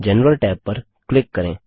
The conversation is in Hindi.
जनरल टैब पर क्लिक करें